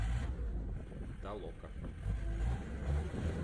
толока